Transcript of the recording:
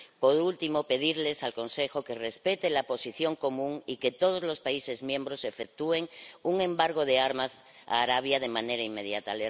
Por último, pedir al Consejo que respete la Posición Común y que todos los Estados miembros efectúen un embargo de armas a Arabia Saudí de manera inmediata.